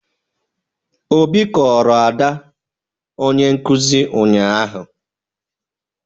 Obi kọọrọ Ada onye nkuzi ụnyahụ